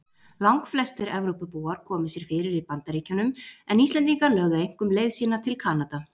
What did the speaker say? Langflestir Evrópubúar komu sér fyrir í Bandaríkjunum en Íslendingar lögðu einkum leið sína til Kanada.